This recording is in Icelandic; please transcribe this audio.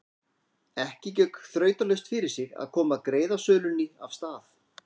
Ekki gekk þrautalaust fyrir sig að koma greiðasölunni af stað.